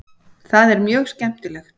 Það er mjög skemmtilegt.